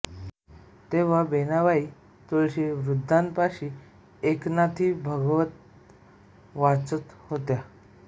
तेव्हा वेणाबाई तुळशी वृन्दावानापाशी एकनाथी भागवत वाचीत होत्या